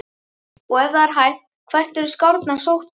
Og ef það er hægt, hvert voru skrárnar sóttar?